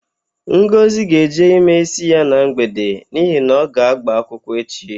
Ngọzị ga-eje ime ísí ya na mgbede n'ihi na ọ ga-ágbà akwụkwọ echi.